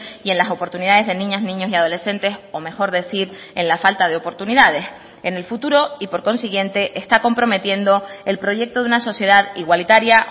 y en las oportunidades de niñas niños y adolescentes o mejor decir en la falta de oportunidades en el futuro y por consiguiente está comprometiendo el proyecto de una sociedad igualitaria